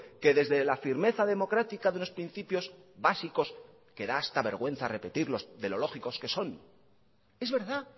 que desde la firmeza democrática de los principios básicos que da hasta vergüenza repetirlos de lo lógicos que son es verdad